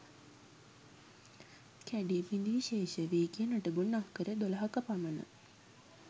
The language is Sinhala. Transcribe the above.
කැඩී බිඳී ශේෂව ගිය නටබුන් අක්කර 12 ක පමණ